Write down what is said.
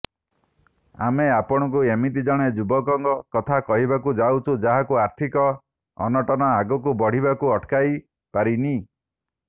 ଆମେ ଆପଣଙ୍କୁ ଏମିତି ଜଣେ ଯୁବକଙ୍କ କଥା କହିବାକୁ ଯାଉଛୁ ଯାହାକୁ ଆର୍ଥିକ ଅନଟନ ଆଗକୁ ବଢ଼ିବାକୁ ଅଟକାଇପାରିନି